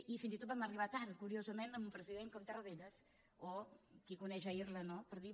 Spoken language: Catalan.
i fins i tot vam arribar tard curiosament amb un president com tarradellas o qui coneix irla no per dir